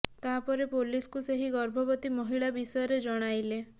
ତାପରେ ପୋଲିସ କୁ ସେହି ଗର୍ଭବତି ମହିଳା ବିଷ୍ୟରେ ଜଣାଇଲେ